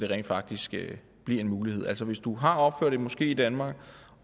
rent faktisk bliver en mulighed altså hvis du har opført en moské i danmark